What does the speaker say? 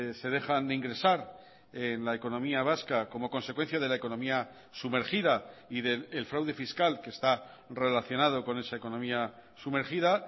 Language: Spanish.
se dejan de ingresar en la economía vasca como consecuencia de la economía sumergida y del fraude fiscal que está relacionado con esa economía sumergida